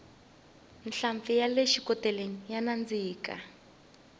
nhlampfi yale xikoteleni ya nandzika